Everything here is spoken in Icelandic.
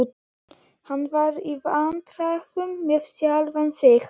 Hann var í vandræðum með sjálfan sig.